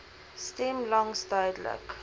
stem langs duidelik